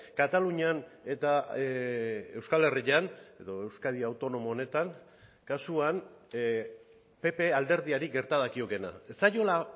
katalunian eta euskal herrian edo euskadi autonomo honetan kasuan pp alderdiari gerta dakiokeena ez zaiola